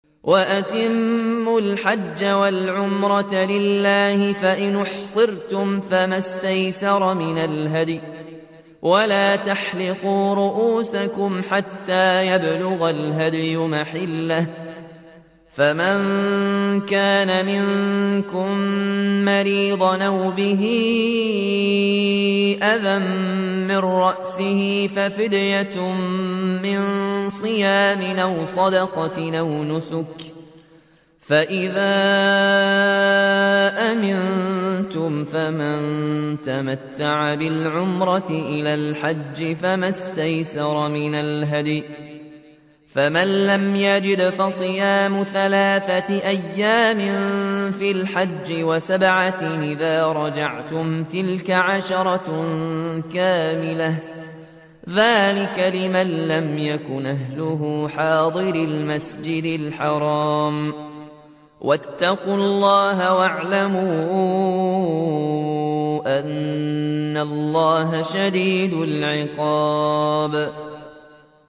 وَأَتِمُّوا الْحَجَّ وَالْعُمْرَةَ لِلَّهِ ۚ فَإِنْ أُحْصِرْتُمْ فَمَا اسْتَيْسَرَ مِنَ الْهَدْيِ ۖ وَلَا تَحْلِقُوا رُءُوسَكُمْ حَتَّىٰ يَبْلُغَ الْهَدْيُ مَحِلَّهُ ۚ فَمَن كَانَ مِنكُم مَّرِيضًا أَوْ بِهِ أَذًى مِّن رَّأْسِهِ فَفِدْيَةٌ مِّن صِيَامٍ أَوْ صَدَقَةٍ أَوْ نُسُكٍ ۚ فَإِذَا أَمِنتُمْ فَمَن تَمَتَّعَ بِالْعُمْرَةِ إِلَى الْحَجِّ فَمَا اسْتَيْسَرَ مِنَ الْهَدْيِ ۚ فَمَن لَّمْ يَجِدْ فَصِيَامُ ثَلَاثَةِ أَيَّامٍ فِي الْحَجِّ وَسَبْعَةٍ إِذَا رَجَعْتُمْ ۗ تِلْكَ عَشَرَةٌ كَامِلَةٌ ۗ ذَٰلِكَ لِمَن لَّمْ يَكُنْ أَهْلُهُ حَاضِرِي الْمَسْجِدِ الْحَرَامِ ۚ وَاتَّقُوا اللَّهَ وَاعْلَمُوا أَنَّ اللَّهَ شَدِيدُ الْعِقَابِ